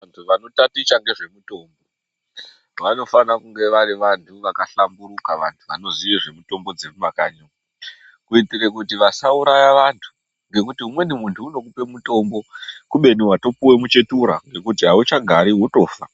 Vantu vanotaticha ngezvemutombo, vanofana vange varivantu vakahlamburuka, vantu vanozive dzemutombo dzemumakanyi, kuitire kuti vasauraya vantu nekuti umweni muntu unokupe mutombo kubeni watopiwe muchetura wekuti hawuchagari wetofa.